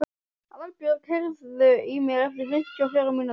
Aðalbjörg, heyrðu í mér eftir fimmtíu og fjórar mínútur.